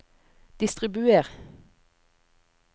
distribuer